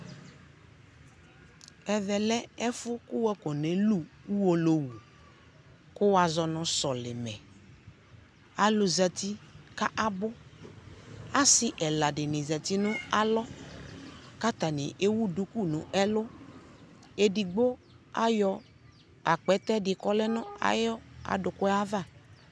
Ɛvɛ lɛ ɛfu ku wafɔ nɛlu ku Uwolowu, ku wazɔ nu sɔlimɛAlu zati ka abuAsi ɛla dini zati nu alɔ katani ɛwu duku nu ɛluƐdigbo ayɔ akpɛtɛ di kɔlɛ nu ayɔ adu ku yɛ va